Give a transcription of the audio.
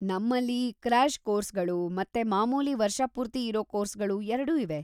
ನಮ್ಮಲ್ಲಿ ಕ್ರ್ಯಾಷ್ ಕೋರ್ಸ್‌ಗಳು ಮತ್ತೆ ಮಾಮೂಲಿ ವರ್ಷಪೂರ್ತಿ ಇರೋ ಕೋರ್ಸ್‌ಗಳು ಎರಡೂ ಇವೆ.